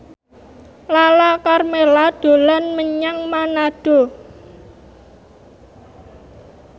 Lala Karmela dolan menyang Manado